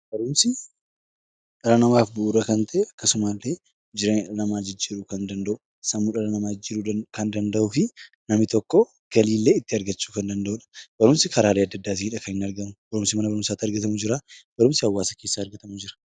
Barumsi dhala namaaf bu'uura kan ta'e akkasuma illee jireenya dhala namaa jijjiiruu kan danda'u, sammuu dhala namaa jijjiiruu kan danda'u fi namni tokko galii illee itti argachuu kan danda'udha. Barumsi karaalee addaa addaa argatamuu ni danda'u barumsi hawaasa keessaa argatamu jira.